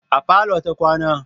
A parlour ta kwana.